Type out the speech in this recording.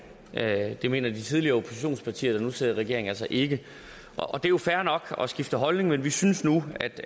at det mener de tidligere oppositionspartier der nu sidder i regering altså ikke det er jo fair nok at skifte holdning men vi synes nu